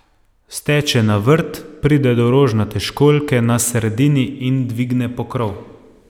Steče na vrt, pride do rožnate školjke na sredini in dvigne pokrov.